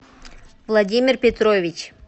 владимир петрович